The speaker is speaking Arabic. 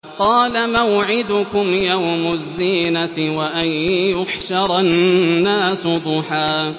قَالَ مَوْعِدُكُمْ يَوْمُ الزِّينَةِ وَأَن يُحْشَرَ النَّاسُ ضُحًى